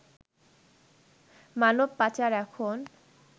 মানব পাচার এখন